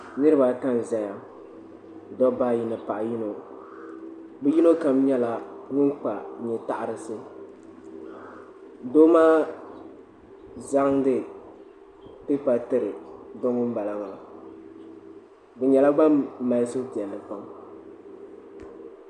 niriba ata n-zaya dabba ayi ni paɣa yino bɛ yino kam nyɛla ŋun kpa nye' taɣirisi doo maa zaŋdi pipa tiri do ŋun bala maa bɛ nyɛla ban mali suhupiɛlli pam.